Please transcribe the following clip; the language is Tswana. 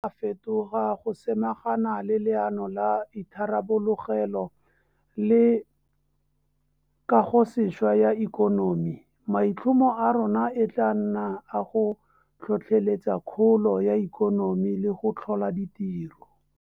Fetoga go samagana le Leano la Itharabologelo le Kagosešwa ya Ikonomi, maitlhomo a rona e tla nna a go tlhotlheletsa kgolo ya ikonomi le go tlhola ditiro.